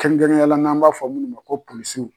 Kɛrɛnkɛrɛnneya la n'an b'a fɔ munnu ma ko